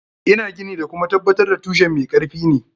Ina gini da kuma tabbatar da tushen mai karfi ne.